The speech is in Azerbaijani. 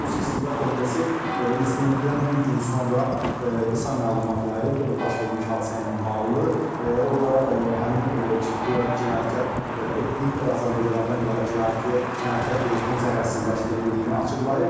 Rusiya İstintaq Komitəsi insidentdən bir gün sonra qısa məlumat yayıb baş vermiş hadisə ilə bağlı, o da həmin guya cinayətkar etnik azərbaycanlılardan ibarət cinayətkar qrupun zərərsizləşdirildiyini açıqlayıb.